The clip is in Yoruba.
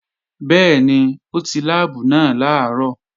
Bẹ́ẹ̀ni, ó ti láàbù náà làárọ̀